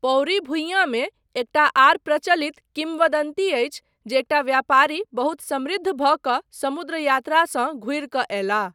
पौरी भुइयाँमे एकटा आर प्रचलित किम्वदन्ती अछि जे एकटा व्यापारी बहुत समृद्ध भऽ कऽ समुद्र यात्रासँ घुरि कऽ अयलाह।